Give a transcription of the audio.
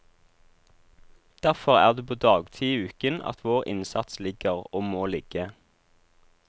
Derfor er det på dagtid i uken at vår innsats ligger, og må ligge.